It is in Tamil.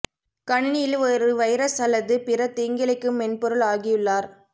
கணினியில் ஒரு வைரஸ் அல்லது பிற தீங்கிழைக்கும் மென்பொருள் ஆகியுள்ளார்